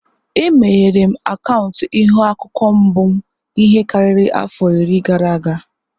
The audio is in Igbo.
Emeghere m akaụntụ Ihu-akwukwuo mbụ m ihe karịrị afọ iri gara aga.